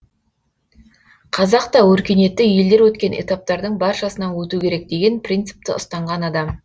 қазақ та өркениетті елдер өткен этаптардың баршасынан өту керек деген принципті ұстанған адам